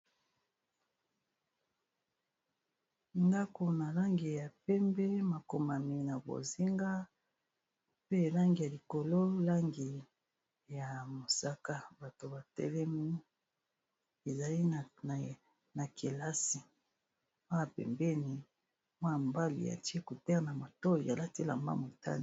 Ndako na langi ya pembe, makomami na bozinga pe langi ya likolo langi ya mosaka . Bato batelemi ezali na kelasi, awa pembeni mwana mobali a tié écouteur na matoyi a lati elamba ya motane .